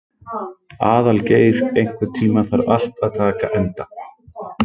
Aðalgeir, einhvern tímann þarf allt að taka enda.